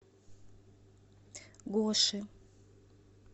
гоши